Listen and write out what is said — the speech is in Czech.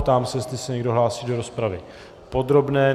Ptám se, jestli se někdo hlásí do rozpravy podrobné.